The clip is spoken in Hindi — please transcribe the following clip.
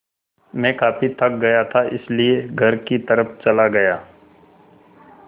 मैं काफ़ी थक गया था इसलिए घर की तरफ़ चला गया